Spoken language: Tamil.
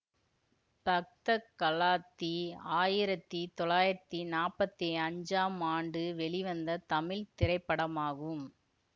பக்த களாத்தி ஆயிரத்தி தொள்ளாயிரத்தி நாப்பத்தி அஞ்சாம்ஆண்டு வெளிவந்த தமிழ் திரைப்படமாகும்